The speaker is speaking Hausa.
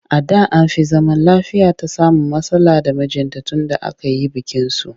A da an fi zaman lafiyata samun matsala da mijinta tunda aka yi bikinsu